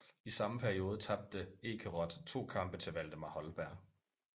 I samme periode tabte Ekeroth to kampe til Waldemar Holberg